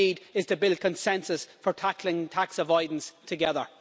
What we need is to build consensus for tackling tax avoidance together.